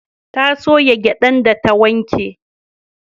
Ta soya gyadan da ta wanke